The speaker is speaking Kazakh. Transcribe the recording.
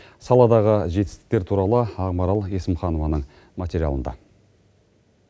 саладағы жетістіктер туралы ақмарал есімханованың материалында